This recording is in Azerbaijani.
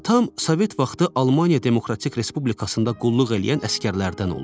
Atam Sovet vaxtı Almaniya Demokratik Respublikasında qulluq eləyən əsgərlərdən olub.